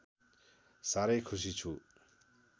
साह्रै खुसी छु